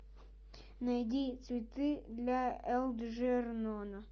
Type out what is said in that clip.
найди цветы для элджернона